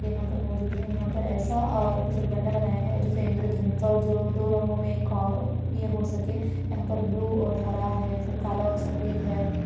यहा पर मौजूद है यहा पर ऐसा आ पिसल बंडा बनाया है जिसे इंद्रधनुष और जो दो रंगोमे खा ए हो सके यहा पर ब्लू और हरा है फिर काला और सफ़ेद है।